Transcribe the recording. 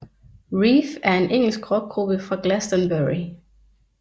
Reef er en engelsk rockgruppe fra Glastonbury